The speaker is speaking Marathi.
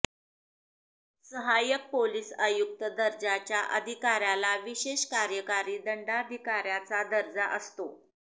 सहायक पोलिस आयुक्त दर्जाच्या अधिकाऱ्याला विशेष कार्यकारी दंडाधिकाऱ्याचा दर्जा असतो